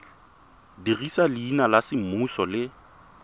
dirisa leina la semmuso le